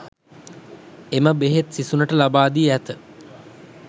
එම බෙහෙත් සිසුනට ලබාදී ඇත